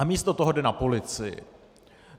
A místo toho jde na policii.